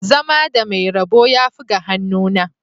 Zama da mai rabo yafi ga hannuna